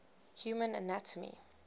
human anatomy